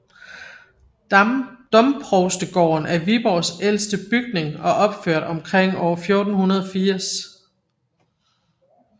Domprovstegården er Viborgs ældste bygning og opført omkring år 1480